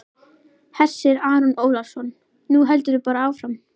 Hersir Aron Ólafsson: Nú heldurðu bara áfram?